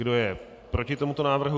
Kdo je proti tomuto návrhu?